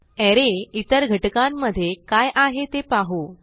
अरे इतर घटकांमध्ये काय आहे ते पाहू